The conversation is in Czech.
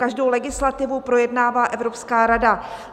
Každou legislativu projednává Evropská rada.